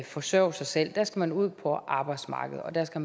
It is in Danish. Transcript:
forsørge sig selv der skal man ud på arbejdsmarkedet og der skal